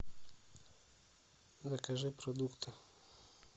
закажи продукты